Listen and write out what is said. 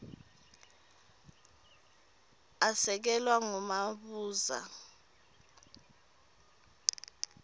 asekelwa ngumabuza m